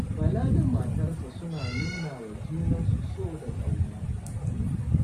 Bala da matarsa suna nuna wa junansu so da ƙauna.